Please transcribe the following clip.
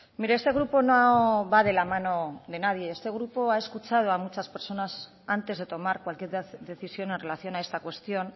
mire este grupo no va de la mano de nadie este grupo ha escuchado a muchas personas antes de tomar cualquier decisión en relación a esta cuestión